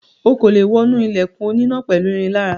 O kò lè wọnú ilẹ̀kùn oníná pẹ̀lú irin lára.